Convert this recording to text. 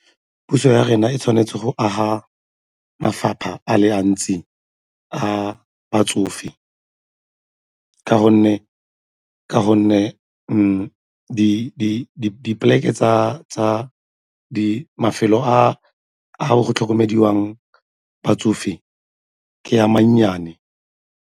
Puso ya rena e tshwanetse go aga mafapha a le a batsofe ka gonne mafelo a go tlhokomeliwang batsofe ke a mannyane.